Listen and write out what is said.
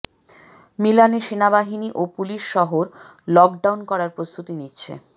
মিলানে সেনাবাহিনী ও পুলিশ শহর লক ডাউন করার প্রস্তুতি নিচ্ছে